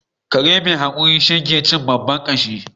Kare mai hakuri shine ke cin babban kashi